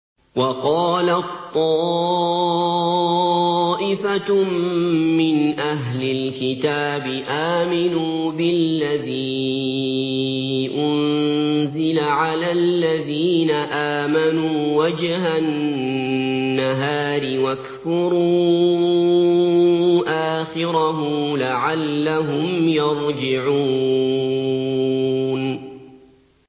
وَقَالَت طَّائِفَةٌ مِّنْ أَهْلِ الْكِتَابِ آمِنُوا بِالَّذِي أُنزِلَ عَلَى الَّذِينَ آمَنُوا وَجْهَ النَّهَارِ وَاكْفُرُوا آخِرَهُ لَعَلَّهُمْ يَرْجِعُونَ